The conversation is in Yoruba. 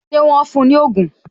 Ṣé wọn fún ní ogún?